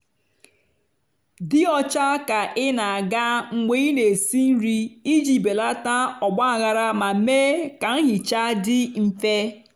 dị ọcha ka ị na-aga mgbe ị na-esi nri iji belata ọgbaghara ma mee ka nhicha dị mfe.